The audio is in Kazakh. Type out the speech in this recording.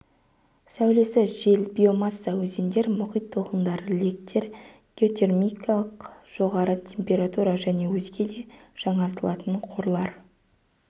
сәулесі жел биомасса өзендер мұхит толқындары лектер геотермикалық жоғары температура және өзге де жаңартылатын қорлар